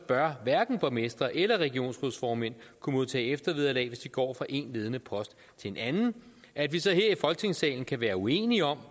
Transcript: bør hverken borgmestre eller regionsrådsformænd kunne modtage eftervederlag hvis de går fra én ledende post til en anden at vi så her i folketingssalen kan være uenige om